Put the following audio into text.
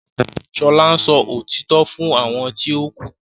Shola ǹsọ òtítọ́ fún àwọn ti o ku.